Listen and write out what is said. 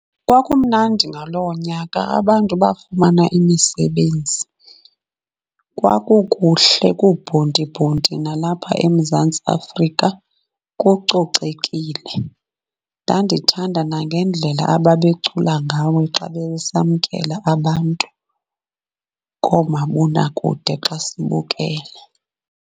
Kwakumnandi ngaloo nyaka, abantu bafumana imisebenzi. Kwakukuhle kuhle kubhontibhonti nalapha eMzantsi Afrika, kucocekile. Ndandithanda nangendlela ababecula ngayo xa besamkela abantu koomabonakude xa sibukele.